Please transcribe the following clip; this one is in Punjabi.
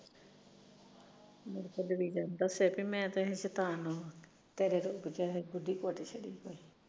ਦਸਿਆ ਕਿ ਮੈਂ ਤਾਂ ਹਜੇ ਸ਼ੈਤਾਨ ਆ